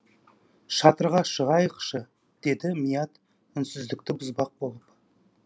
шатырға шығайықшы деді мият үнсіздікті бұзбақ болып